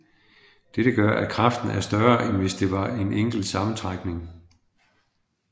Dette gør at kraften er større end hvis det var en enkelt sammentrækning